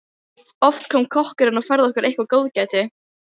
Oft kom kokkurinn og færði okkur eitthvert góðgæti.